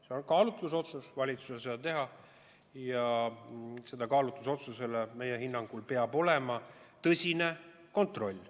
See on valitsuse kaalutlusotsus ja meie hinnangul peab selle kaalutlusotsuse korral olema tehtud tõsine kontroll.